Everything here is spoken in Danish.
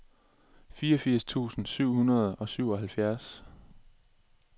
fireogfirs tusind syv hundrede og syvoghalvfjerds